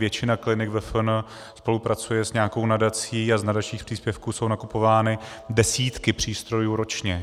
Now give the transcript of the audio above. Většina klinik ve VFN spolupracuje s nějakou nadací a z nadačních příspěvků jsou nakupovány desítky přístrojů ročně.